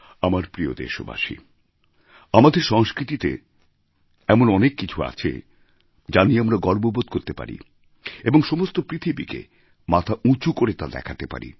আমার প্রিয় দেশবাসী আমাদের সংস্কৃতিতে এমন অনেক কিছু আছে যা নিয়ে আমরা গর্ববোধ করতে পারি এবং সমস্ত পৃথিবীকে মাথা উঁচু করে তা দেখাতে পারি